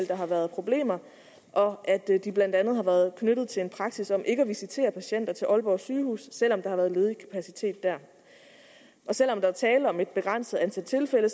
der har været problemer og at de blandt andet har været knyttet til en praksis om ikke at visitere patienter til aalborg sygehus selv om der har været ledig kapacitet der selv om der er tale om et begrænset antal tilfælde